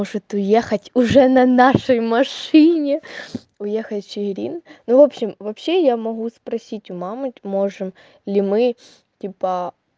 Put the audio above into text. может уехать уже на нашей машине уехали чиирин ну в общем вообще я могу спросить у мамы можем ли мы типа